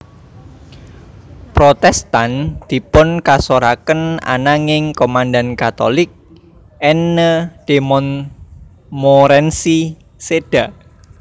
Protestan dipunkasoraken ananging komandan Katolik Anne de Montmorency séda